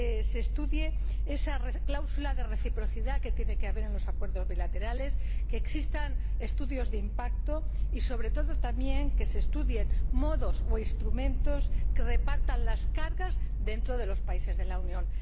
se estudie esa cláusula de reciprocidad que tiene que existir en los acuerdos bilaterales, que existan estudios de impacto y sobre todo, también, que se estudien modos o instrumentos que repartan las cargas dentro de los países de la Unión.